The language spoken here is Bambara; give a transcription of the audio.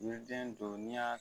Ni ye den don ni y'a